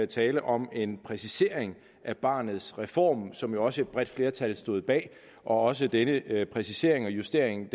tale om en præcisering af barnets reform som jo også et bredt flertal stod bag og også denne præcisering og justering